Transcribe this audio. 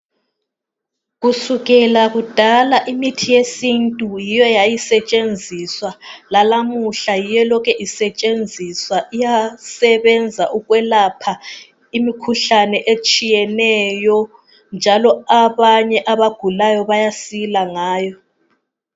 Kusukela kudala imithi yesintu yiyo eyayisetshenziswa lalamuhla yiyo elokhe isetshenziswa. Iyasebenza ukwelapha imikhuhlane etshiyeneyo njalo abanye abagulayo bayasila ngayo.